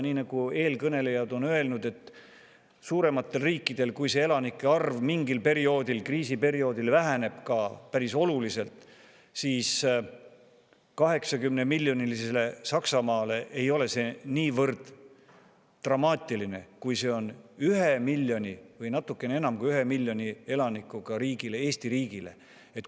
Nii nagu eelkõnelejad on öelnud, kui suuremate riikide elanike arv mingil perioodil, kriisiperioodil tuntavalt väheneb, siis näiteks 80-miljonilise elanikkonnaga Saksamaale ei ole see niivõrd dramaatiline, kui see on ühe miljoni või natuke enam kui ühe miljoni elanikuga riigile, Eesti riigile.